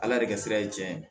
Ala de ka sira ye tiɲɛ ye